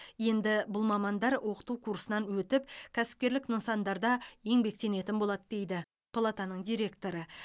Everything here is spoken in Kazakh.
енді бұл мамандар оқыту курсынан өтіп кәсіпкерлік нысандарда еңбектенетін болады дейді палатаның директоры